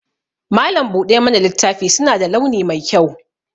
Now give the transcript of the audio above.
Malam buɗe mana littafi suna da launi mai kyau